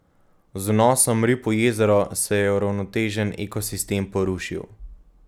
Z vnosom rib v jezero se je uravnotežen ekosistem porušil.